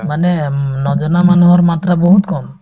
মানে উম নজনা মানুহৰ মাত্ৰা বহুত কম